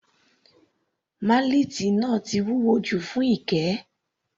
Málẹ́ẹ́tì náà ti wúwo jù fún Ike.